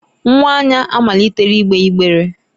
Nwa Anya amalitela igbe igbere.